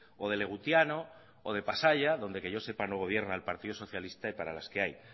o de legutiano o de pasaia donde que yo sepa no gobierno el partido socialista y para las que hay